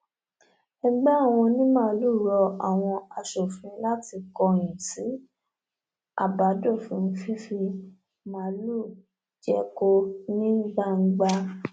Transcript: ẹgbẹ àwọn onímaalùú rọ àwọn aṣòfin láti kọyìn sí àbádòfin fífi màálùú jẹko ní gbangba